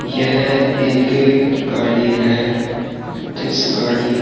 यह एक गाड़ी है जिस गाड़ी --